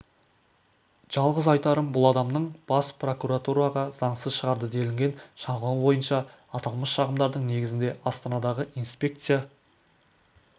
жалғыз айтарым бұл адамның бас прокуратураға заңсыз шығарды делінген шағымы бойынша аталмыш шағымдардың негізінде астанадағы инспекция